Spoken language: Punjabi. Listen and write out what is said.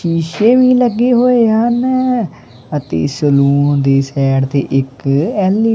ਸ਼ੀਸ਼ੇ ਵੀ ਲੱਗੇ ਹੋਏ ਹਨ ਅਤੇ ਇਸ ਰੂਮ ਦੇ ਸੈਡ ਤੇ ਇੱਕ ਐਲ_ਈ --